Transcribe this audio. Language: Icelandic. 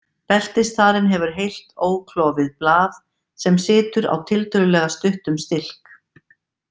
Beltisþarinn hefur heilt óklofið blað sem situr á tiltölulega stuttum stilk.